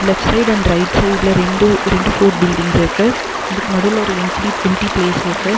Left side and right சைட்ல ரெண்டு ரெண்டு ஃபோர்ட் பில்ட்டிங்ஸ் இருக்கு அதுக்கு நடுவுல ஒரு எம்ப்லி எம்டி பிளேஸ்ஸிருக்கு .